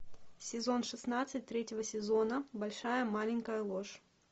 сезон шестнадцать третьего сезона большая маленькая ложь